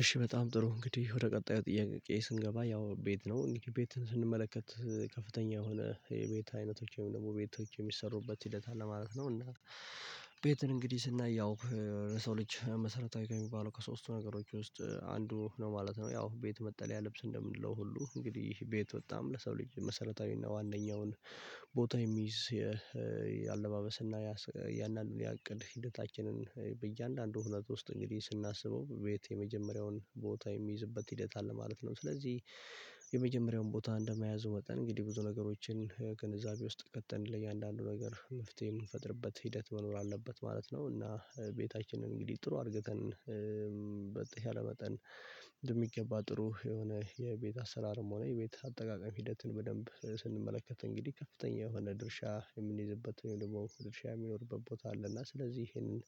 እሺ በጣም ጥሩ እንግዲህ ወደ ቀጣዩ ጥያቄ ስንገባ ያው ቤት ነው እንግዲህ ቤትን ስንመለከት ከፍተኛ የሆነ የቤት አይነቶች ወይም ደግሞ ቤቶች የሚሰሩበት ሂደት አለ ማለት ነው። እና ቤትን እንግዲህ ስናይ ያው የሰው ልጅ መሰረታዊ ከሚባለው ከሶስቱ ነገሮች ውስጥ አንዱ ነው ማለት ነው። ያው ቤት መጠለያ ልብስ እንደምንለው ሁሉ እንግዲህ ቤት በጣም ለሰው ልጅ መሰረታዊና ዋናኛውን ቦታ የሚይዝ የአለባበስና ያንን የቅድ ሂደታችንን በእያንዳንዱ ሁነት ውስጥ እንግዲህ ስናስበው ቤት የመጀመሪያውን ቦታ የሚይዝበት ሂደት አለ ማለት ነው። ስለዚህ የመጀመሪያውን ቦታ እንደመያዙ መጠን እንግዲህ ብዙ ነገሮችን ውስጥ ገብተን ለእያንዳንዱ ነገር መፍትሄ የምንፈጥርበት ሂደት መኖር አለበት ማለት ነው። እና ቤታችንን እንግዲህ ጥሩ አድርገን በተሻለ መጠን በሚገባ ጥሩ የሆነ የቤት አሰራርም ሆነ የቤት አጠቃቀም ሂደትን በደንብ ስንመለከት እንግዲህ ከፍተኛ የሆነ ድርሻ የምንይዝበት ወይም ደግሞ ድርሻ የሚኖርበት ቦታ አለ። እና ስለዚህ ይሄንን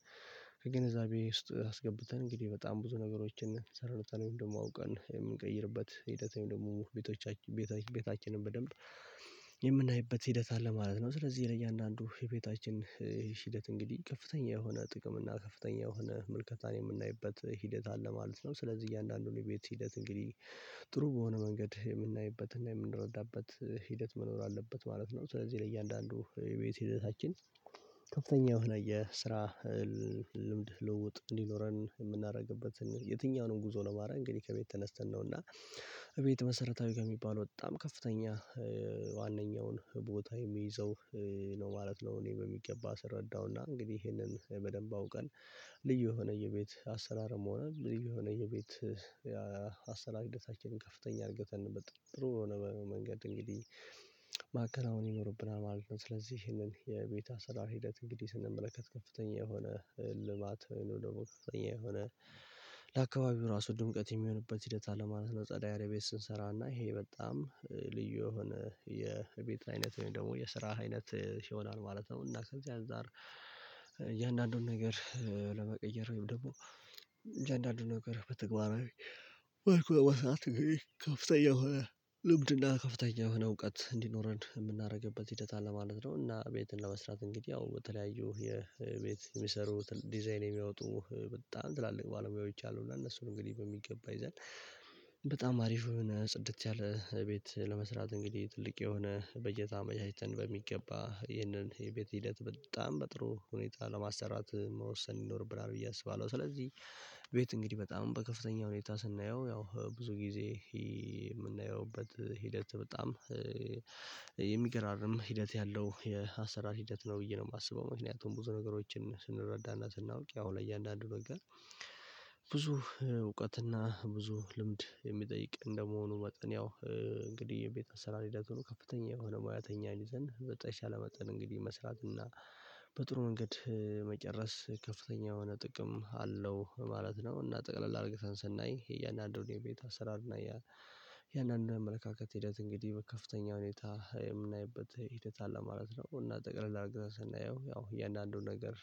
ከግንዛቤ ውስጥ አስገብተን እንግዲህ በጣም ብዙ ነገሮችን ሰርተን ወይም ደግሞ አውቀን የምንቀይርበት ሂደት ወይም ደግሞ ቤቶቻችን ቤታችንን በደንብ የምናይበት ሂደት አለ ማለት ነው። ስለዚህ ለእያንዳንዱ የቤታችን ሂደት እንግዲህ ከፍተኛ የሆነ ጥቅም እና ከፍተኛ የሆነ ምልከታን የምናይበት ሂደት አለ ማለት ነው። ስለዚህ እያንዳንዱን የቤት ሂደት እንግዲህ ጥሩ በሆነ መንገድ የምናይበትና የምንረዳበት ሂደት መኖር አለበት ማለት ነው። ስለዚህ ለእያንዳንዱ የቤት ሂደታችን ከፍተኛ የሆነ የስራ ልምድ ልውውጥ እንዲኖረን የምናደርግበትን የትኛውንም ጉዞ ለማድረግ አንግዲህ ከቤት ተነስተን ነውና ቤት መሰረታዊ ከሚባለው በጣም ከፍተኛ ዋናኛውን ቦታ የሚይዘው ነው ማለት ነው። እኔ በሚገባ ስረዳውና እንግዲህ ይሄንን በደንብ አውቀን ልዩ የሆነ የቤት አሰላርም ሆነ ልዩ የሆነ የቤት አሰራር ሒደታችንን ከፍተኛ እርገተን በ ጥሩ በሆነ መንገድ እንግዲህ ማከናወን ይኖርብናል ማለት ነው። ስለዚህ ይሄንን የቤት አሰራር ሂደት እንግዲህ ስንመለከት ከፍተኛ የሆነ ልማት ወይንም ደግሞ ከፍተኛ የሆነ ለአካባቢው ራሱ ድምቀት የሚሆንበት ሂደት አለ ማለት ነው። ጸዳ ያለ ቤት ስንሰራ እና ይሄ በጣም ልዩ የሆነ የቤት አይነት ወይም ደግሞ የስራ አይነት ይሆናል ማለት ነው። እና ከዚህ አንፃር እያንዳንዱን ነገር ለመቀየር ወይም ደግሞ እንደአንዳንዱ ነገር በተግባራዊ መልኩ ለመስራት አንግዲህ ከፍተኛ የሆነ ልምድ እና ከፍተኛ የሆነ እውቀት እንዲኖረን የምናደርግበት ሂደት አለ ማለት ነው። እና ቤትን ለመስራት እንግዲህ ያው በተለያዩ የ ቤት የሚሰሩ ዲዛይን የሚያወጡ በጣም ትላልቅ ባለሙያዎች አሉ። እና እነሱን እንግዲህ በሚገባ ይዘን በጣም አሪፍ የሆነ ጽድት ያለ ቤት ለመስራት እንግዲህ ትልቅ የሆነ በጀት አመቻችተን በሚገባ ይህንን የቤት ሂደት በጣም በጥሩ ሁኔታ ለማሰራት መወሰን ይኖርብናል ብዬ አስባለሁ። ስለዚህ ቤት እንግዲህ በጣም በከፍተኛ ሁኔታ ስናየው ያው ብዙ ጊዜ የምናይበት ሂደት በጣም የሚገራርም ሂደት ያለው የአሰራር ሂደት ነው ብዬ ነው የማስበው ምክንያቱም ብዙ ነገሮችን ስንረዳና ስናውቅ ያው ለእያንዳንዱ ነገር ብዙ እውቀትና ብዙ ልምድ የሚጠይቅ እንደመሆኑ መጠን ያው እንግዲህ የቤት ስራ ሂደቱን ከፍተኛ የሆነ ሙያተኛ ይዘን በተሻለ መጠን እንግዲህ መስራት እና በጥሩ መንገድ መጨረስ ከፍተኛ የሆነ ጥቅም አለው ማለት ነው። እና ጠቅለል አርግተን ስናይ እያንዳንዱን የቤት አሰራርና የእያንዳንዱን አመለካከት ሂደት እንግዲህ ከፍተኛ ሁኔታ የምናይበት ሂደት አለ ማለት ነው። እና ጠቅለል አርገን ሰናየው ያው እያንዳንዱን ነገር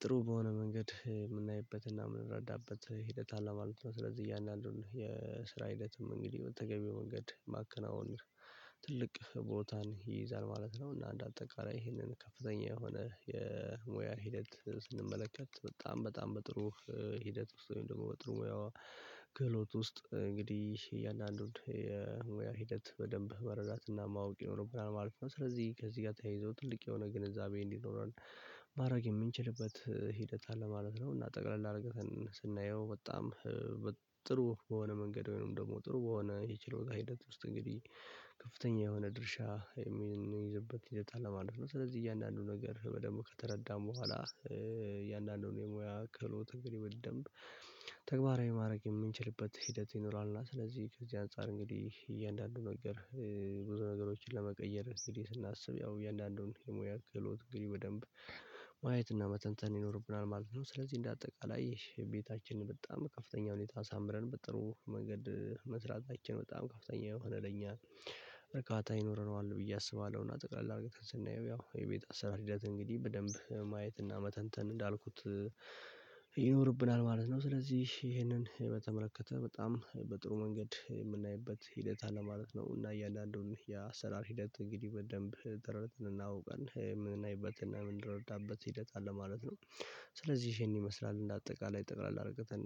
ጥሩ በሆነ መንገድ የምናይበትና የምንረዳበት ሂደት አለ ማለት ነው። ስለዚህ እያንዳንዱን የስራ ሂደትም እንግዲህ በተገቢው መንገድ ማከናወን ትልቅ ቦታን ይይዛል ማለት ነው። እና እንደአጠቃላይ ይህንን ከፍተኛ የሆነ የሙያ ሂደት ስንመለከት በጣም በጣም በጥሩ ሂደት ውስጥ ወይም ደግሞ በጥሩ ሙያዋ ክህሎት ውስጥ እንግዲህ እያንዳንዱን የሙያ ሂደት በደንብ መረዳትና ማወቅ ይኖርብናል ማለት ነው። ስለዚህ ከዚህ ጋር ተያይዞ ትልቅ የሆነ ግንዛቤ እንዲኖረን ማድረግ የምንችልበት ሂደት አለ ማለት ነው። እና ጠቅለል አድርገን ስናየው በጣም ጥሩ በሆነ መንገድ ወይንም ደግሞ ጥሩ በሆነ የችሎታ ሂደት ውስጥ እንግዲህ ከፍተኛ የሆነ ድርሻ የሚይዝበት ሂደት አለ ማለት ነው። ስለዚህ እያንዳንዱ ነገር ደግሞ ከተረዳን በኋላ እያንዳንዱን የሙያ ክህሎት እንግዲህ በደንብ ተግባራዊ ማድረግ የምንችልበት ሂደት ይኖራል። እና ስለዚህ ከዚህ አንፃር እንግዲህ እያንዳንዱን ነገር ብዙ ነገሮችን ለመቀየር እንግዲህ ስናስብ ያው እያንዳንዱን የሙያ ክህሎት እንግዲህ በደንብ ማየትና መተንተን ይኖርብናል ማለት ነው። ስለዚህ እንደ አጠቃላይ ይሄ ቤታችን በጣም በከፍተኛ ሁኔታ አሳምረን በጥሩ መንገድ መስራታችን በጣም ከፍተኛ የሆነ ለኛ እርካታ ይኖረዋል ብዬ አስባለሁ። እና ጠቅለል አድርገን ስናየው ያው የቤት አሰራር ሂደት እንግዲህ በደንብ ማየትና መተንተን እንዳልኩት ይኖርብናል ማለት ነው። ስለዚህ ይሄንን የ በመተመለከተ በጣም በጥሩ መንገድ የምናይበት ሂደት አለ ማለት ነው። እና እያንዳንዱን የአሰራር ሂደት እንግዲህ በደንብ ጥረን እና አውቀን የምናይበትና የምንረዳበት ሂደት አለ ማለት ነው። ስለዚህ ይሄን ይመስላል እንደ አጠቃላይ ጠቅላላ አርግተን